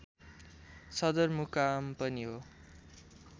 सदरमुकाम पनि हो